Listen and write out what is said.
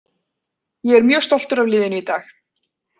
Ég er mjög stoltur af liðinu í dag.